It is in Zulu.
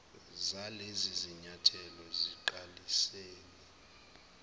zalezi zinyathelo siqalisile